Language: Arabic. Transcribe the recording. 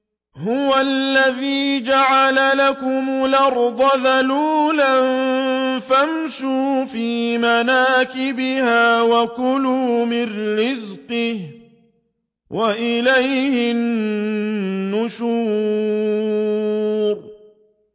هُوَ الَّذِي جَعَلَ لَكُمُ الْأَرْضَ ذَلُولًا فَامْشُوا فِي مَنَاكِبِهَا وَكُلُوا مِن رِّزْقِهِ ۖ وَإِلَيْهِ النُّشُورُ